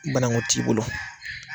Banankun t'i bolo.